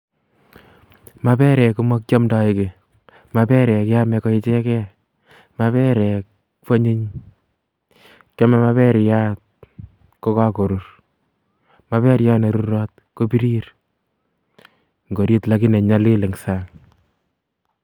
Maperek ko makiamdoi kiy. Maperek keamei ko ichekei. Maperek kwanyiny. Kiamei maperiat kogakorur. Maperiat ne rurot kobirir ngorit lakini nyalil eng' sang'.